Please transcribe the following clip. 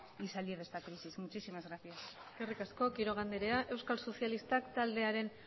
y salir de esta crisis muchísimas gracias eskerrik asko quiroga anderea euskal sozialistak taldearen